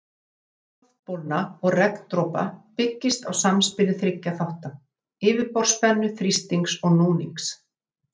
Lögun loftbólna og regndropa byggist á samspili þriggja þátta, yfirborðsspennu, þrýstings og núnings.